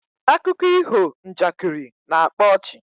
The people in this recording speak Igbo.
Akuko iho njakiri na-akpa ọchị